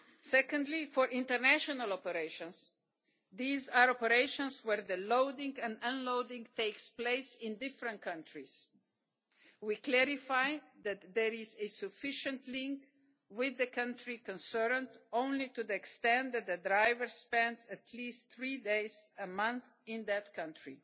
Secondly, for international operations these are operations where the loading and unloading take place in different countries we clarify that there is a sufficient link with the country concerned only to the extent that the driver spends at least three days a month in that country.